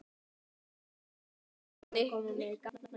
Hann kom hikandi upp úr henni.